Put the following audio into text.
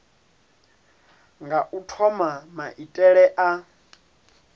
nga u thoma maitele a